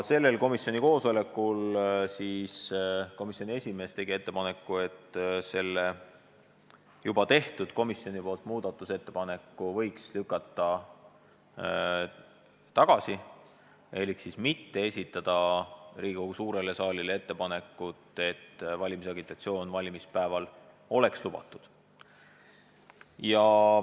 Sellel komisjoni koosolekul tegi esimees ettepaneku, et selle varem tehtud muudatusettepaneku võiks tagasi lükata ehk mitte esitada seda Riigikogu suurele saalile, nii et valimisagitatsioon oleks valimispäeval lubatud.